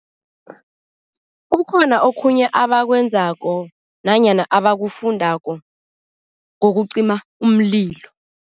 Kukhona okhunye abakwenzako nanyana abafundako kokucima umlilo.